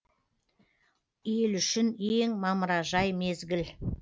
ел үшін ең мамыражай мезгіл